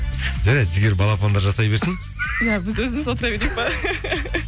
жарайды жігер балапандар жасай берсін иә біз өзіміз отыра берейік пе